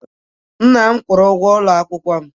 Nna m kwụrụ ụgwọ ụlọ akwụkwọ m